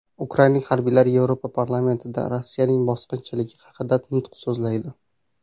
Ukrainalik harbiylar Yevropa parlamentida Rossiyaning bosqinchiligi haqida nutq so‘zlaydi.